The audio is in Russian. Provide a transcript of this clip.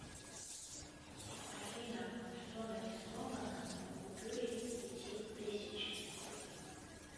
афина что нарисовано на купюре пяти тысяч